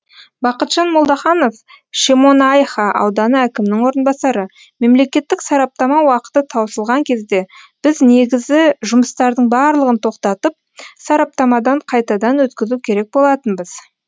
бақытжан молдаханов шемонайха ауданы әкімінің орынбасары мемлекеттік сараптама уақыты таусылған кезде біз негізі жұмыстардың барлығын тоқтатып сараптамадан қайтадан өткізу керек болатынбыз